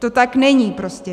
To tak není prostě.